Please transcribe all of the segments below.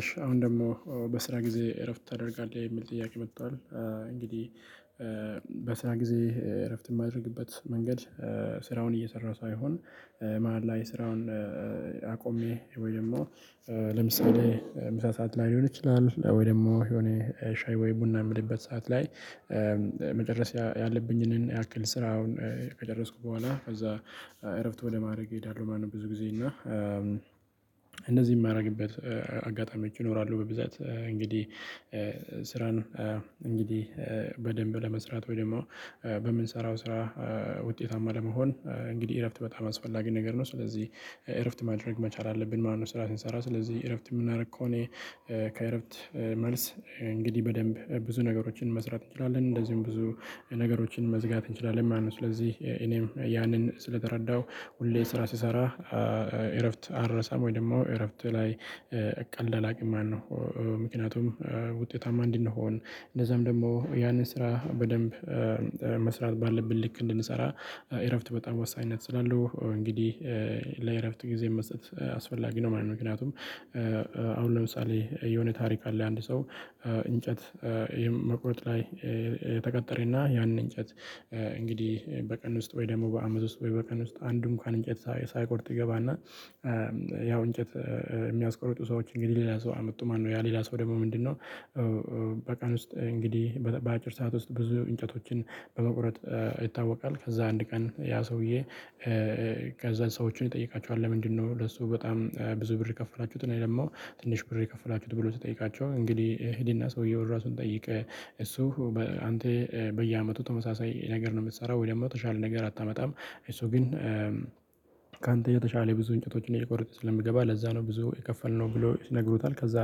እሺ አሁን ደግሞ በስራ ጊዜ እረፍት ታደርጋለህ የሚል ጥያቄ መጥቷል። እንግዲህ በስራ ጊዜ እረፍት የማደርግበት መንገድ። ስራውን እየሰራሁ ሳይሆን መሃል ላይ ስራውን አቆሜ ወይም ደግሞ ለምሳሌ ምሳ ሰዓትላይ ሊሆን ይችላል ወይ ደግሞ የሆነ ሻይ ወይ ቡና የምልበት ሰዓት ላይ። መጨረስ ያለብኝን ያክል ስራውን ከደረስኩ በኋላ ከዛ እረፍት ወደ ማድረግ እሄዳለሁ። ማነው ብዙ ጊዜ እና እንደዚህ የማደርግበት አጋጣሚዎች እኖራለሁ። በብዛት እንግዲህ ስራን እንግዲህ በደንብ ለመስራት ወይም ደግሞ በምንሰራው ስራ ውጤታማ ለመሆን እንግዲህ እረፍት በጣም አስፈላጊ ነገር ነው። ስለዚህ እረፍት ማድረግ መቻል አለብን። ማነው ስራ ስንሰራ ስለዚህ እረፍት የምናደርግ ከሆነ ከእረፍት መልስ እንግዲህ በደንብ ብዙ ነገሮችን መስራት እንችላለን እንደዚሁም ብዙ ነገሮችን መዝጋት እንችላለን ማለት ነው። ስለዚህ እኔም ያንን ስለተረዳሁ ሁሌ ስራ ስሰራ እረፍት አረሳም ወይ ደግሞ እረፍት ላይ ቀልድ አላውቅም። ማነው ምክንያቱም ውጤታማ ምንድነው? እንደሆን እንደዛም ደግሞ ያንን ስራ በደንብ መስራት ባለብን ልክ እንድንሰራ እረፍት በጣም ወሳኝነት ስላለው እንግዲህ ጊዜ መስጠት አስፈላጊ ነው ማለት ነው። ምክንያቱም አሁን ለምሳሌ የሆነ ታሪክ አለ። አንድ ሰው እንጨት መቁረጥ ላይ ተቀጠረና ያንን እንጨት እንግዲህ በቀን ውስጥ ወይ ደግሞ በአመት ውስጥ ወይ በቀን ውስጥ አንዱም ካን እንጨት ሳይቆርጥ ይገባና። ያው እንጨት የሚያስቆርጡ ሰዎች እንግዲህ ሌላ ሰው አመጡ ማነው። ያ ሌላ ሰው ደግሞ ምንድነው? በቀን ውስጥ እንግዲህ በአጭር ሰዓት ውስጥ ብዙ እንጨቶችን በመቁረጥ ይታወቃል። ከዛ አንድ ቀን ያ ሰውዬ ከዛ ሰዎችን ይጠይቃቸዋል። ለምንድነው ለሱ በጣም ብዙ ብር የከፈላችሁትን ደግሞ ትንሽ ብር የከፈላችሁትን ብሎ ተጠይቃቸው። እንግዲህ እህልና ሰውየውን ራሱን ጠይቅ። እሱ አንተ በየአመቱ ተመሳሳይ ነገር ነው የምትሰራው ወይ ደግሞ ተሻለ ነገር አታመጣም? አይ እሱ ግን የተሻለ ብዙ እንጨቶችን እየቆረጥን ስለሚገባ ለዛ ነው ብዙ የከፈልነው ብሎ ይነግሩታል። ከዛ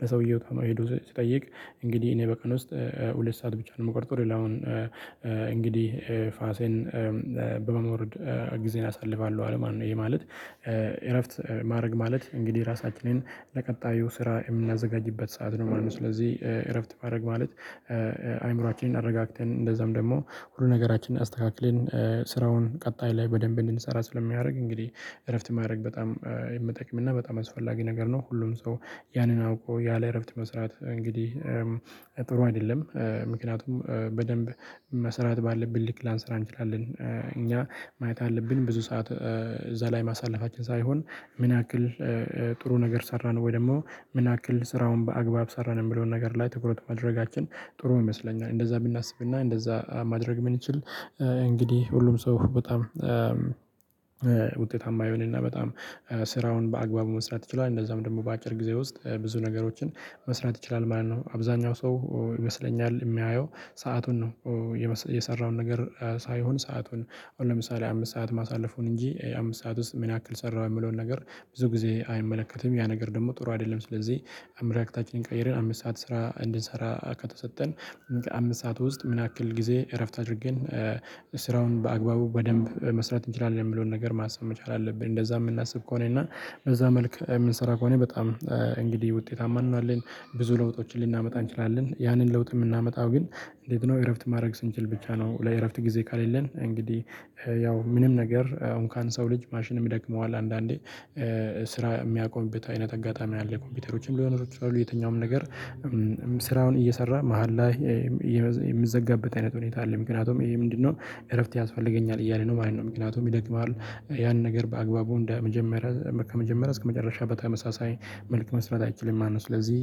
ለሰውየው ተማሪ ሲጠይቅ እንግዲህ እኔ በቀን ውስጥ ሁለት ሰዓት ብቻ ነው የምቆርጠው ሌላውን። እንግዲህ ፋሴን በመሞረድ ጊዜን አሳልፋለሁ አለማን ነው ይሄ ማለት። እረፍት ማድረግ ማለት እንግዲህ ራሳችንን ለቀጣዩ ስራ የምናዘጋጅበት ሰዓት ነው ማለት ነው። ስለዚህ እረፍት ማድረግ ማለት አይምሮአችንን አረጋግተን እንደዛም ደግሞ ሁሉ ነገራችንን አስተካክለን ስራውን ቀጣይ ላይ በደንብ እንድንሰራ ስለሚያደርግ እንግዲህ እረፍት ማድረግ በጣም የምጠቅምና በጣም አስፈላጊ ነገር ነው። ሁሉም ሰው ያንን አውቆ ያለ እረፍት መስራት እንግዲህ ጥሩ አይደለም። ምክንያቱም በደንብ መስራት ባለብን ልክ ላንሰራ እንችላለን እኛ ማየት አለብን ብዙ ሰዓት እዛ ላይ ማሳለፋችን ሳይሆን ምን ያክል ጥሩ ነገር ሰራን ወይ ደግሞ ምን ያክል ስራውን በአግባብ ሰራን የምለውን ነገር ላይ ትኩረት ማድረጋችን ጥሩ ይመስለኛል። እንደዛ ብናስብና እንደዛ ማድረግ የምንችል እንግዲህ ሁሉም ሰው በጣም ውጤታማ የሆነና በጣም ስራውን በአግባቡ መስራት ይችላል እንደዛም ደግሞ በአጭር ጊዜ ውስጥ ብዙ ነገሮችን መስራት ይችላል ማለት ነው። አብዛኛው ሰው ይመስለኛል የሚያየው ሰአቱን ነው። የሰራውን ነገር ሳይሆን ሰአቱን አሁን ለምሳሌ አምስት ሰዓት ማሳለፉን እንጂ አምስት ሰዓት ውስጥ ምን ያክል ሰራሁ የሚለውን ነገር ብዙ ጊዜ አይመለከትም ያ ነገር ደግሞ ጥሩ አይደለም። ስለዚህ አመለካከታችንን ቀይረን አምስት ሰዓት ስራ እንድንሰራ ከተሰጠን አምስት ሰዓት ውስጥ ምን ያክል ጊዜ እረፍት አድርገን ስራውን በአግባቡ በደንብ መስራት እንችላለን። የሚለውን ነገር ማሰብ መቻል አለብን። እንደዛ የምናስብ ከሆነ እና በዛ መልኩ የምንሰራ ከሆነ በጣም እንግዲህ ውጤታማ እንሆናለን። ብዙ ለውጦችን ልናመጣ እንችላለን። ያንን ለውጥ የምናመጣው ግን እንዴት ነው? እረፍት ማድረግ ብቻ ነው። ለእረፍት ጊዜ ከሌለን እንግዲህ ያው ምንም ነገር አሁን እንኮን ሰው ልጅ ማሽንም ይደክመዋል። አንዳንዴ ስራ የሚያቆምበት አይነት አጋጣሚ ነው ያለው ኮምፒውተሮችም ሊሆኑ ይችላሉ። የትኛውም ነገር ስራውን እየሰራ መሃል ላይ የሚዘጋበት አይነት ሁኔታ አለ። ምክንያቱም ይሄ ምንድነው? እረፍት ያስፈልገኛል እያለ ነው ማለት ነው። ምክንያቱም ይደክማል ያን ነገር በአግባቡ እንደ መጀመሪያ ከመጀመሪያ እስከመጨረሻው በተመሳሳይ መልክ መስራት አይችልም ማለት ነው። ስለዚህ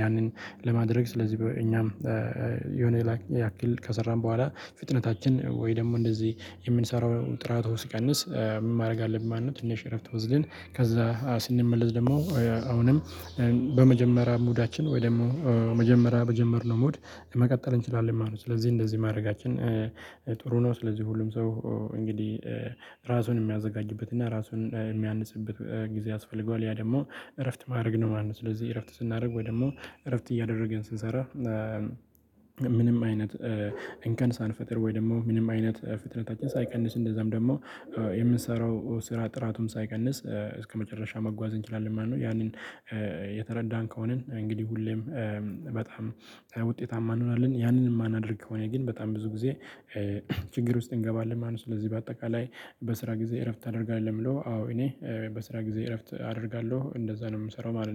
ያንን ለማድረግ ስለዚህ እኛም ያክል ከሰራን በኋላ ፍጥነታችን ወይ ደግሞ እንደዚህ የምንሰራው ጥራቶች ሲቀንስ ማድረግ አለብኝ ማንነት ትንሽ እረፍት ወስደን ከዛ ስንመለስ ደግሞ አሁንም በመጀመሪያ ሙዳችን ወይ ደግሞ መጀመሪያ በጀመርነው ሙድ መቀጠል እንችላለን ማለት ነው። ስለዚህ እንደዚህ ማድረጋችን ጥሩ ነው። ስለዚህ ሁሉም ሰው እንግዲህ ራሱን የሚያዘጋጅበትና ራሱን የሚያንጽበት ጊዜ ያስፈልገዋል ያ ደግሞ እረፍት ማድረግ ነው ማለት ነው። ስለዚህ እረፍት ስናደርግ ወይ ደግሞ እረፍት እያደረገን ስንሰራ ምንም አይነት እንከን ሳንፈጥር ወይ ደግሞ ምንም አይነት ፍጥነታችን ሳይቀንስ እንደዛም ደግሞ የምንሰራው ስራ ጥራቱን ሳይቀንስ እስከመጨረሻ መጓዝ እንችላለን ማለት ነው። ያንን የተረዳን ከሆነን እንግዲህ ሁሌም በጣም ውጤታማ እንሆናለን። ያንን የማናደርግ ከሆነ ግን በጣም ብዙ ጊዜ ችግር ውስጥ እንገባለን ማለት ነው። ስለዚህ በአጠቃላይ በስራ ጊዜ እረፍት አደርጋለሁ ብሎ አዎ እኔ በስራ ጊዜ እረፍት አደርጋለሁ እንደዛ ነው የምሰራው ማለት ነው